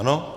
Ano?